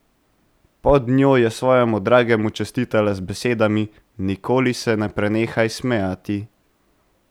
Pod njo je svojemu dragemu čestitala z besedami: ''Nikoli se ne prenehaj smejati.